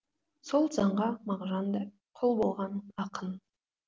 сол заңға мағжан да құл болған ақын